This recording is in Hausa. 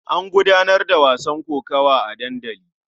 An gudanar da wasan kokawa a dandali.